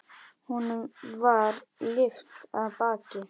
Honum var lyft af baki.